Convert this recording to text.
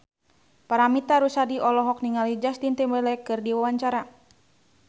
Paramitha Rusady olohok ningali Justin Timberlake keur diwawancara